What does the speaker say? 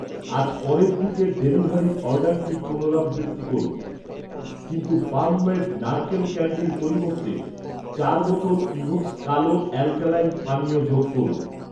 আজ পরের দিকের ডেলিভারির অর্ডারটির পুনরাবৃত্তি করুন। কিন্তু ফার্ম মেড নারকেল ক্যান্ডির পরিবর্তে চার বোতল ইভোকস কালো অ্যালকালাইন পানীয় যোগ করুন